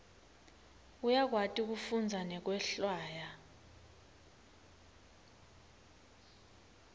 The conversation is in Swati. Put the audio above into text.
uyakwati kufundza nekwehlwaya